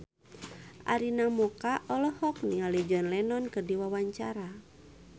Arina Mocca olohok ningali John Lennon keur diwawancara